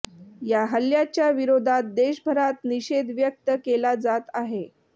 या हल्ल्याच्या विरोधात देशभरात निषेध व्यक्त केला जात आहे